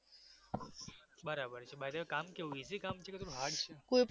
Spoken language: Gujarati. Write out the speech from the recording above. બરાબર છે બધું કામ કેવું easy કામ છે કે hard છે